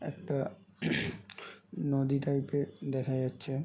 একটা নদী টাইপ -এর দেখা যাচ্ছে।